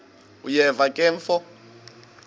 uyeva ke mfo